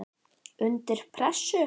Undir pressu.